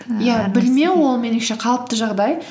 білмеу ол меніңше қалыпты жағдай